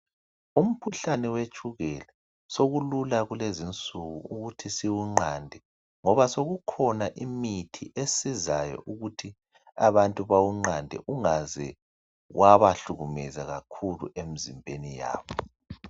Umkhuhlane wetshukela sokulula kulezinsuku ukuthi siwunqande ngoba sokukhona imithi esizayo ukuthi abantu bawunqande ungaze wabahlukumeza kakhulu emzimbeni yabo